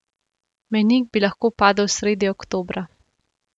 Mejnik bi lahko padel sredi oktobra.